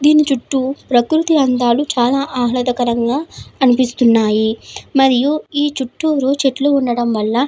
దీని చుట్టూ ప్రకృతి అందాలు చాల ఆహ్లాదకరంగా అనిపిస్తున్నాయి. మరియు ఈ చుట్టూరు చెట్లు ఉండడం వాళ్ళ --